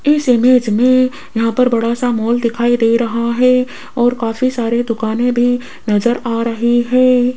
इस इमेज में यहां पर बड़ा सा मॉल दिखाई दे रहा है और काफी सारे दुकानें भी नज़र आ रही है।